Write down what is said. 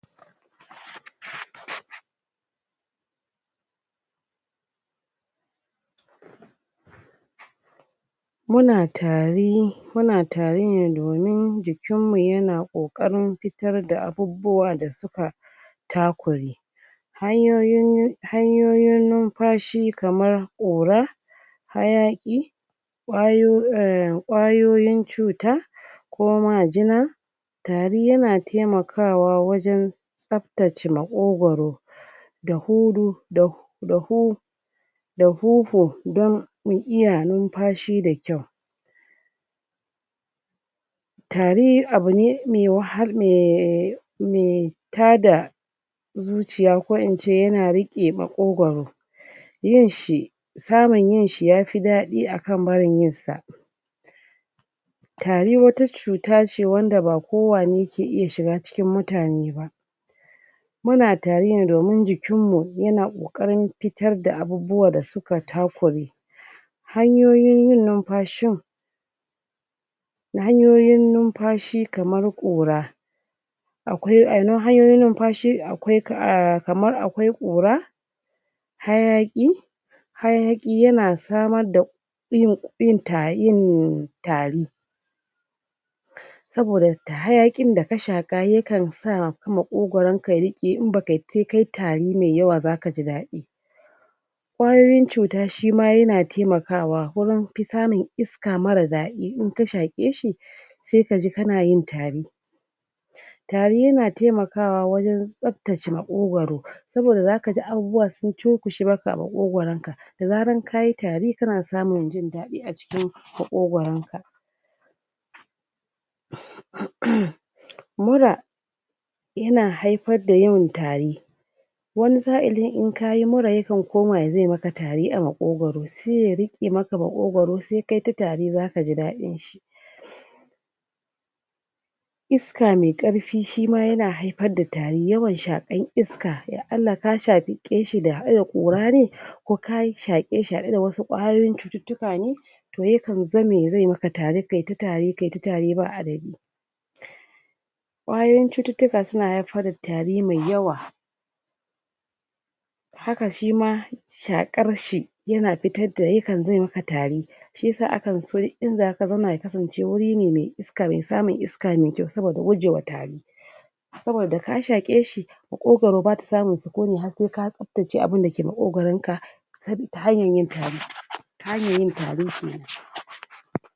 Muna tari muna tari ne domin jikin mu yana kokarin fitar da abubuwa da suka takure hanyoyin hanyoyin numfashi kaman ƙura, hayaƙi, ƙwayo um ƙwayoyin cuta ko majina tari yana taimakawa wajan tsabtaci maƙogwaro da hudu da da hu da huhu dan mu iya numfashi da kyau. Tari abune me wahal me um me tada zuciya ko ince yana riƙe maƙogwaro yinshi samun yinshi yafi daɗi akan barin yinsa. Tari wata cuta ne wanda ba kowane ke iya shiga cikin mutane ba muna tarine domin jikin mu yana kokarin fitar da abubuwa da suka takure hanyoyin yin nunfashin hanyoyin numfashi kamar ƙura akwai hanyoyi numfashi akwai um kamar akwai ƙura, hayaƙi hayaƙi yana samar da yin yin tari yin tari saboda hayaƙin da ka shaƙa yakan sa ka maƙogwaron ka riƙe in baka se kai tari me yawa zaka ji daɗi. Kwayoyin cuta shima yana temakawa wurin fi samun iska mara daɗi in ka shaƙe shi se kaji kanayin tari, tari yana temakawa wajan tsabtace maƙogwaro saboda zakaji abubuwa sun cunkushe maka a maƙogwaron ka da zaran kayi tari kana samun jin daɗi acikin maƙogwaron ka. umm mura yana haifar da yawan tari wani sa'ilin in kayi mura yakan koma zai maka tari a maƙogwaro se ya riƙe maka maƙogwaro sai kaita tari zakaji dadin shi. Iska mai ƙarfi shima yana haifar da tari, yawan shaƙan iska ya Allah ka shaƙe shi haɗe da ƙurane ko ka yi shaƙe shi haɗe da wasu ƙwayoyin cututtuka ne to yakan zame ya zame maka tari kayita tari kayi ta tari ba adadi. Ƙwayoyin cututtuka suna haifar da tari me yawa, haka shima shaƙarshi yana fitarda yakan zame maka tari shiyasa akan so inzaka zauna yakasan ce wuri ne me iska me samun iska me kyau saboda guje wa tari saboda ka shaƙe shi maƙogwaro bata samun sukuni har se ka tsabtace abunda ke maƙogwaron ka sabi ta hanyan yin tari hanyan yin tari kenan.